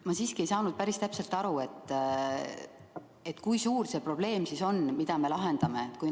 Ma siiski ei saa päris täpselt aru, kui suur see probleem siis on, mida me lahendame.